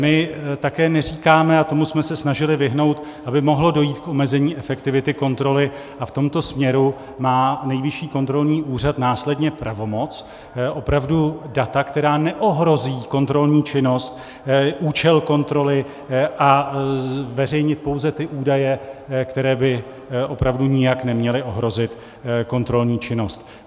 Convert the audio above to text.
My také neříkáme, a tomu jsme se snažili vyhnout, aby mohlo dojít k omezení efektivity kontroly, a v tomto směru má Nejvyšší kontrolní úřad následně pravomoc opravdu data, která neohrozí kontrolní činnost, účel kontroly, a zveřejnit pouze ty údaje, které by opravdu nijak neměly ohrozit kontrolní činnost.